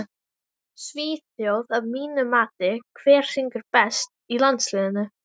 Svíþjóð að mínu mati Hver syngur best í landsliðinu?